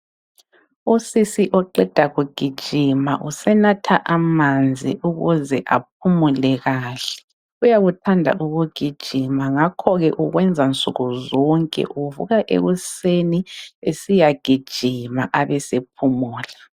Usisi oqeda kugijima usenatha amanzi ukuze aphumule kahle. Uyakuthanda ukugijima ngakho ke ukwenza nsukuzonke, uvuka ekuseni esiyagijima abesephumula.